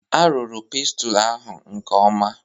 A rụrụ pestle ahụ nke ọma.